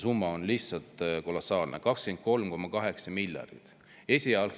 Summa on lihtsalt kolossaalne – 23,8 miljardit!